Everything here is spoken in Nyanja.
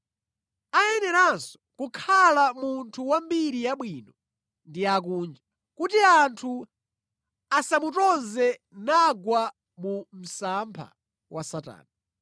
Ayeneranso kukhala munthu wambiri yabwino ndi akunja, kuti anthu asamutonze nagwa mu msampha wa Satana.